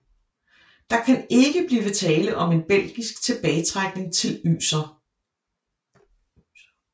Der kan ikke blive tale om en belgisk tilbagetrækning til Yser